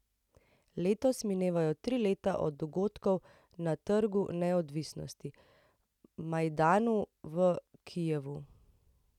Letos minevajo tri leta od dogodkov na Trgu neodvisnosti, Majdanu, v Kijevu.